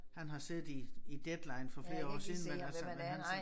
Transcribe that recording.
Han har siddet i i Deadline for flere år siden men altså men han er sådan